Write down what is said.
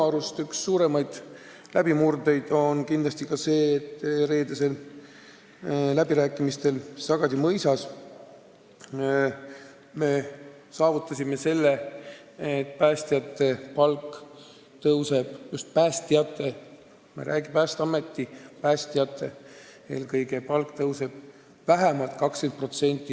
Üks suurimaid läbimurdeid aga on kindlasti see, et reedestel läbirääkimistel Sagadi mõisas me saavutasime selle, et päästjate palk – just päästjate palk, me ei räägi kõigist Päästeameti töötajatest – tõuseb järgmisel aastal vähemalt 20%.